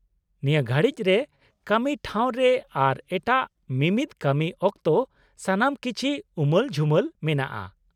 -ᱱᱤᱭᱟᱹ ᱜᱷᱟᱲᱤᱡ ᱨᱮ ᱠᱟᱹᱢᱤ ᱴᱷᱟᱶ ᱨᱮ ᱟᱨ ᱮᱴᱟᱜ ᱢᱤᱢᱤᱫ ᱠᱟᱹᱢᱤ ᱚᱠᱛᱚ ᱥᱟᱱᱟᱢ ᱠᱤᱪᱷᱤ ᱩᱢᱟᱹᱞ ᱡᱷᱩᱢᱟᱹᱞ ᱢᱮᱱᱟᱜᱼᱟ ᱾